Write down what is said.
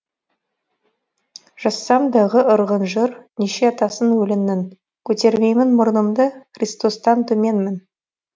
жазсам дағы ырғын жыр неше атасын өлеңнің көтермеймін мұрнымды христостан төменмін